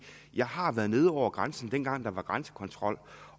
jeg har været nede over grænsen dengang der var grænsekontrol